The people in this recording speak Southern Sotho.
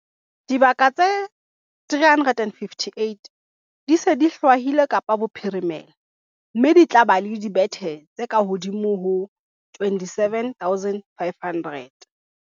Dibaka tse 358 di se di hlwailwe Kapa Bophirimela, mme di tla ba le dibethe tse kahodimo ho 27 500.